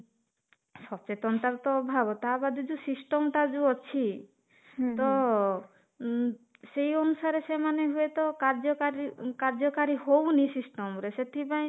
ସଚେତନତା ର ଅଭାବ ହେବା ତା ବାଦ ଯୋଉ system ଟା ଯୋଉ ଅଛି ହୁଁ ତ ଉମ ସେଇ ଅନୁସାରେ ସେମାନେ ହୁଏ ତ କାର୍ଯ୍ୟକାରୀ କାର୍ଯ୍ୟକାରୀ ହଉନି system ରେ ସେଥିପାଇଁ